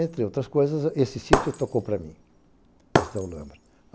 Entre outras coisas, esse sítio tocou para mim, esse da Olambra.